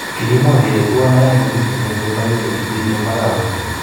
kikimwa kele twan aeng kokimiten koyee maywek en bii en makawet.